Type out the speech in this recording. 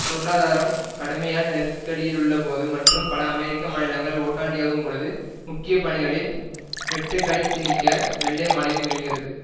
பொருளாதாரம் கடுமையான நெருக்கடியிலுள்ளபோது மற்றும் பல அமெரிக்க மாநிலங்கள் ஓட்டாண்டியாகும் பொழுது முக்கிய பணிகளில் வெட்டுக்களைத் திணிக்க வெள்ளை மாளிகை முயல்கிறது